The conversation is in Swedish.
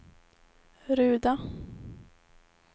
Ruda